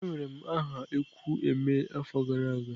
Ewere m aha ekwu emee afo gara aga.